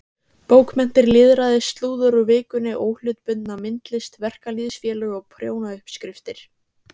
Bókmenntir, lýðræði, slúður úr Vikunni, óhlutbundna myndlist, verkalýðsfélög og prjónauppskriftir.